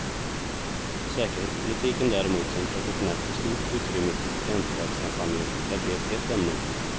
Säkerhetspolitiken däremot, som traditionellt får stort utrymme i presidentvalskampanjer, lär bli ett hett ämne.